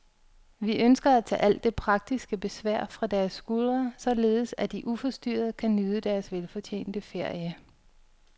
Vi ønsker at tage alt det praktiske besvær fra deres skuldre, således at de uforstyrret kan nyde deres velfortjente ferie.